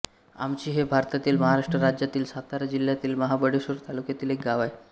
आमशी हे भारतातील महाराष्ट्र राज्यातील सातारा जिल्ह्यातील महाबळेश्वर तालुक्यातील एक गाव आहे